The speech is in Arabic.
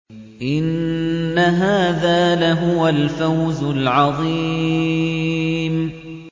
إِنَّ هَٰذَا لَهُوَ الْفَوْزُ الْعَظِيمُ